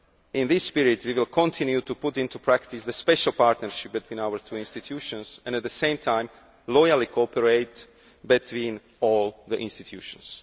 In this spirit, we will continue to put into practice the special partnership between our two institutions and, at the same time, loyally cooperate with all the institutions.